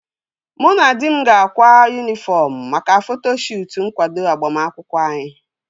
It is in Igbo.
Mụ na di m ga-akwa yunifọm maka foto shuutu nkwado agbamakwụkwọ anyị